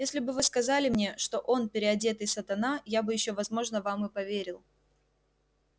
если бы вы сказали мне что он переодетый сатана я бы ещё возможно вам и поверил